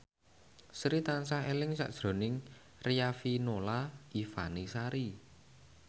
Sri tansah eling sakjroning Riafinola Ifani Sari